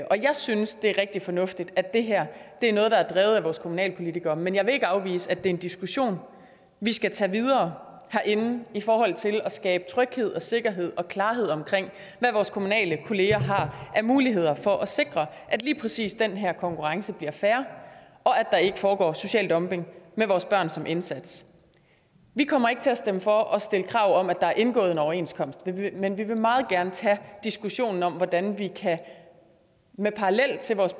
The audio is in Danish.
jeg synes det er rigtig fornuftigt at det her er noget der er drevet af vores kommunalpolitikere men jeg vil ikke afvise at det er en diskussion vi skal tage videre herinde i forhold til at skabe tryghed og sikkerhed og klarhed om hvad vores kommunale kolleger har af muligheder for at sikre at lige præcis den her konkurrence bliver fair og at der ikke foregår social dumping med vores børn som indsats vi kommer ikke til at stemme for at stille krav om at der er indgået en overenskomst men vi vil meget gerne tage diskussionen om hvordan vi med parallel til vores